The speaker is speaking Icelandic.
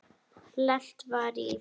Lent var í